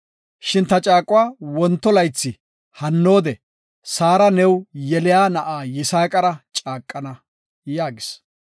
Shin ta caaquwa wonto laythi hanoode Saara new yeliya na7a Yisaaqara caaqana” yaagis.